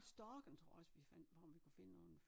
Storken tror jeg også vi fandt på om vi kunne finde nogen